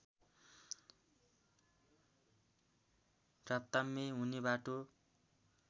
राताम्य हुने बाटो